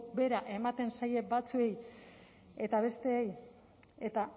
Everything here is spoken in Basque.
bera ematen zaie batzuei eta besteei eta